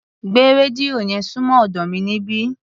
Gbé rédíò yẹn súnmọ́ ọ̀dọ́ mi níbí.